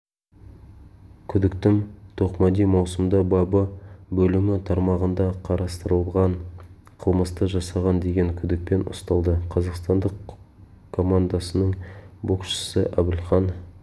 күдіктім тоқмәди маусымда бабы бөлімі тармағында қарастырылған қылмысты жасаған деген күдікпен ұсталды қазақстандық командасының боксшысы әбілхан